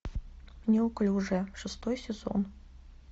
неуклюжая шестой сезон